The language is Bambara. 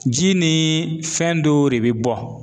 Ji ni fɛn dɔw re be bɔ